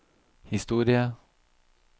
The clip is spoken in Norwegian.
historie